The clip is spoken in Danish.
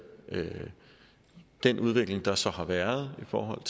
den udvikling der så har været i forhold